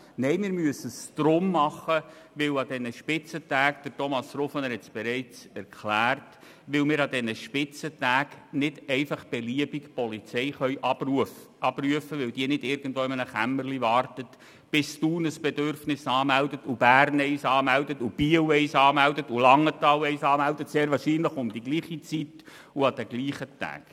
Nein, wir müssen es deshalb tun, weil wir an Spitzentagen – Thomas Rufener hat es bereits erklärt – nicht einfach beliebig Polizei abrufen können, weil die nicht irgendwo in einem Kämmerlein wartet, bis Thun ein Bedürfnis anmeldet, und Bern eines anmeldet, und Biel eines anmeldet, und Langenthal eines anmeldet, sehr wahrscheinlich um dieselbe Zeit an denselben Tagen.